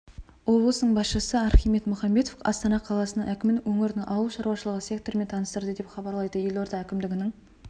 облысының басшысы архимед мұхамбетов астана қаласының әкімін өңірдің ауыл шаруашылығы секторымен таныстырды деп хабарлайды елорда әкімдігінің